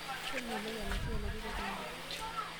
Kemelok enaisho oolotorok oleng.